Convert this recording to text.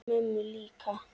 Mömmu líka?